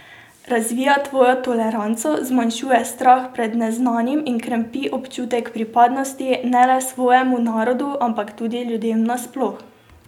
Razvija tvojo toleranco, zmanjšuje strah pred neznanim in krepi občutek pripadnosti ne le svojemu narodu, ampak tudi ljudem nasploh.